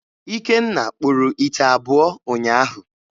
Ikenna kpụrụ ite abụọ ụnyaahụ.